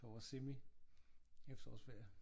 For vores semi efterårsferie